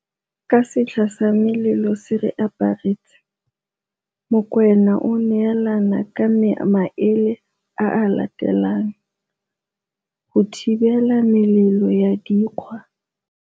Ka setlha sa melelo se re aparetse, Mokoena o neelane ka maele a a latelang go thibela melelo ya dikgwa